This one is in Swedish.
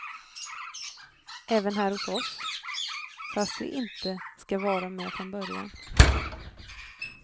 Även här hos oss, fast vi inte ska vara med från början.